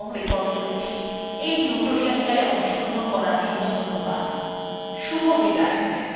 আমি অন্তরা এই টিউটোরিয়ালthe অনুবাদ এবং রেকর্ড করেছি এই টিউটোরিয়ালএ অংশগ্রহণ করার জন্য ধন্যবাদ শুভবিদায়